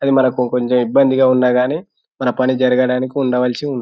అది మనకు కొంచెం ఇబ్బందిగా ఉన్నాగాని మన పని జరగడానికి ఉండవలసి ఉం--